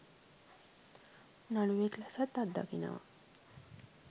නළුවෙක් ලෙසත් අත්දකිනවා..